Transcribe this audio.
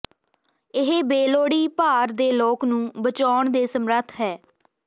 ਇਹ ਬੇਲੋੜੀ ਭਾਰ ਦੇ ਲੋਕ ਨੂੰ ਬਚਾਉਣ ਦੇ ਸਮਰੱਥ ਹੈ